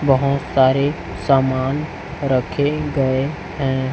बहुत सारे सामान रखे गए हैं।